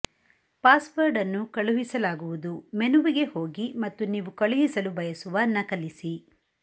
password ಅನ್ನು ಕಳುಹಿಸಲಾಗುವುದು ಮೆನುವಿಗೆ ಹೋಗಿ ಮತ್ತು ನೀವು ಕಳುಹಿಸಲು ಬಯಸುವ ನಕಲಿಸಿ